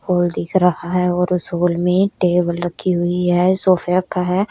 Hall दिख रहा है और उस हॉल में टेबल रखी हुई है सोफे रखा है।